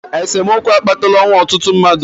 esemokwu akpatala ọnwụ ọtụtụ mmadụ